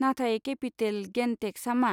नाथाय capital gain टेक्सआ मा?